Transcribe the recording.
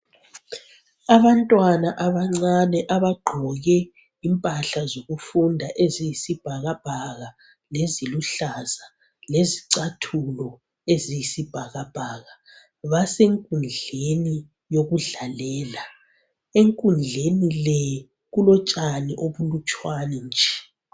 Abantwana abanvane abagqoke impahla zokufunda eziyisibhakabhaka leziluhlaza lezicathulo eziyisibhakabhaka basenkudleni yokudlalela enkundleni le kulotshani ubunlutshwane nje